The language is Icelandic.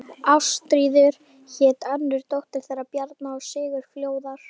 Ástríður hét önnur dóttir þeirra Bjarna og Sigurfljóðar.